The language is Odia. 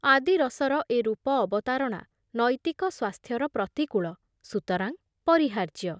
ଆଦି ରସର ଏ ରୂପ ଅବତାରଣା ନୈତିକ ସ୍ବାସ୍ଥ୍ୟର ପ୍ରତିକୂଳ, ସୁତରାଂ ପରିହାର୍ଯ୍ୟ ।